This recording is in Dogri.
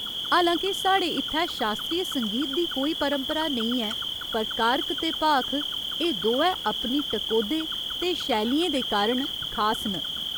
हालां के साढ़े इत्थै शास्त्रीय संगीत दी कोई परंपरा नेईं ऐ पर कारक ते भाख, एह् दोऐ अपनी टकोह्दे ते शैलियें दे कारण खास न।